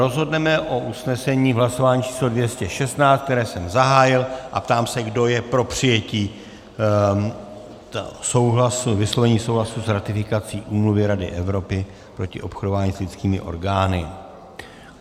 Rozhodneme o usnesení v hlasování číslo 216, které jsem zahájil, a ptám se, kdo je pro přijetí vyslovení souhlasu s ratifikací Úmluvy Rady Evropy proti obchodování s lidskými orgány.